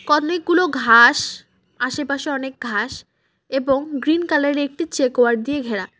কনেকগুলো ঘাস আশেপাশে অনেক ঘাস এবং গ্রিন কালার -এ একটি চেক ওয়ার্ড দিয়ে ঘেরা।